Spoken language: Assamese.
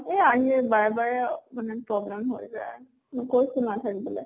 বাৰে বাৰে মানে problem হৈ যায়। মই কৈছো